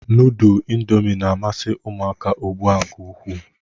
Nudul indomi na-amasi uMụaka ugbụa nke ukwu.